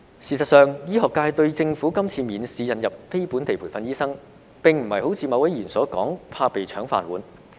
事實上，醫學界對政府今次免試引入非本地培訓醫生，並非如某位議員所說，怕被"搶飯碗"。